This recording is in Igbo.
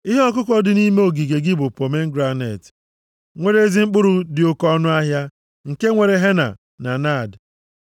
Ihe ọkụkọ dị nʼime ogige gị bụ pomegranet nwere ezi mkpụrụ dị oke ọnụahịa, nke nwere henna na naad,